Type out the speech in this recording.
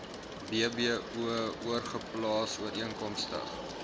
bbo oorgeplaas ooreenkomstig